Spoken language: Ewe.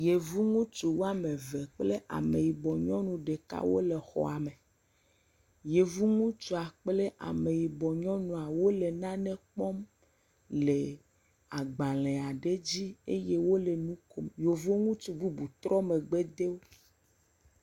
Yevu ŋutsu woame eve kple ameyibɔ nyɔnu ɖeka wole xɔa me. Yevu ŋutsua kplameyibɔ nyɔnua, wole nane kpɔm le agbalẽ aɖe dzi eye wole nu kom. Yevu ŋutsu bubu trɔ megbe de wo.